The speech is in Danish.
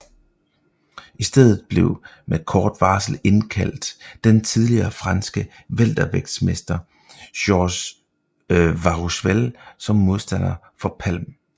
I stedet blev med kort varsel indkaldt den tidligere franske weltervægtsmester Georges Warusfel som modstander for Palm